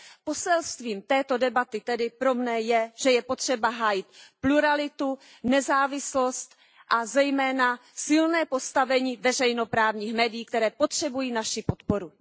Poselstvím této debaty tedy pro mne je, že je potřeba hájit pluralitu, nezávislost a zejména silné postavení veřejnoprávních médií, které potřebují naši podporu.